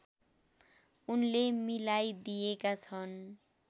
उनले मिलाइदिएका छन्